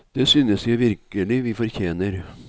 Det synes jeg virkelig vi fortjener.